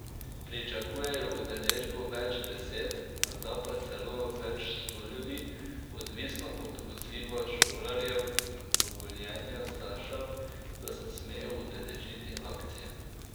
Pričakujejo udeležbo več deset, morda pa celo več sto ljudi, odvisno od odziva šolarjev in dovoljenja staršev, da se smejo udeležiti akcije.